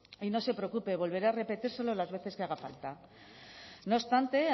y no se preocupe volveré a repetírselo las veces que haga falta no obstante